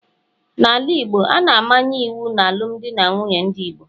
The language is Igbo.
n'ala Igbo, a na-amanye iwu n'alụmdi na nwunye ndị Igbo